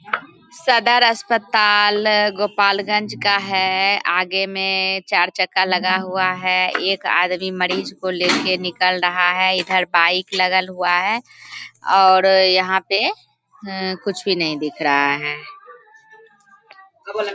सदर अस्पताल गोपालगंज का है आगे में चार चक्का लगा हुआ है एक आदमी मरीज को लेके निकल रहा है इधर बाइक लगल हुआ है और यहाँ पे कुछ भी नहीं दिख रहा है।